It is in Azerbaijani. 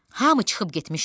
Hamı çıxıb getmişdi.